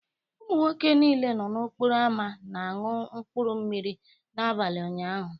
Ụmụ nwoke niile nọ n'okporo ámá na-aṅụ mkpuru mmiri n'abalị ụnyaahụ